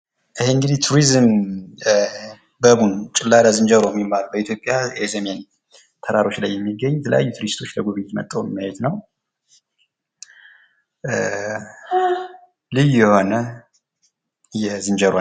ይህ እንግዲህ ቱሪዝም ባቡን ጭላዳ ዝንጀሮ የሚባለው በኢትዮጵያ በሰሜን ተራሮች የሚገኝ የተለያዩ ቱሪስቶች መጥተው የሚያዩት ነው። ልዩ የሆነ የዝንጀሮ አይነት